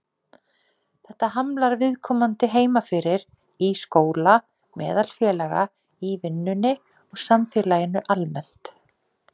Þetta hamlar viðkomandi heima fyrir, í skóla, meðal félaga, í vinnunni og samfélaginu almennt.